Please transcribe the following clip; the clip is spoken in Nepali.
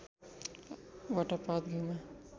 वटा पात घ्यूमा